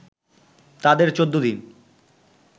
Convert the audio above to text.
তাদের ১৪ দিন